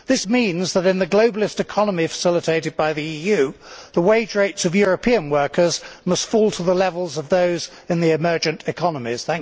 This means that in the globalist economy facilitated by the EU, the wage rates of European workers must fall to the levels of those in the emergent economies.